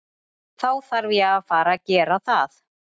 Þá þarf ég að fara gera það.